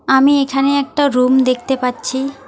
আমি এখানে একটা রুম দেখতে পাচ্ছি।